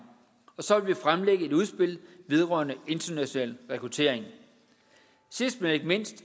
og så vil vi fremlægge et udspil vedrørende international rekruttering sidst men ikke mindst